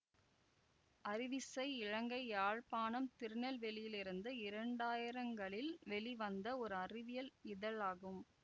அறிவிசை இலங்கை யாழ்ப்பாணம் திருநெல்வேலியிலிருந்து இரண்டாயிரங்களில் வெளிவந்த ஒரு அறிவியல் இதழாகும்